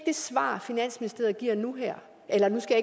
det svar finansministeriet giver nu her eller nu skal